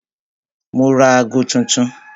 Mo ra ago tuntun